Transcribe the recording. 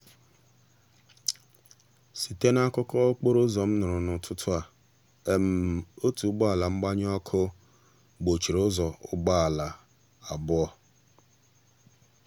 site n'akukọ okporo ụzọ m nụrụ n'ụtụtụ um a otu ụgbọala mgbanyụ ọkụ gbochiri ụzọ ụgbọala um abụọ.